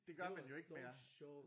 Det var så sjovt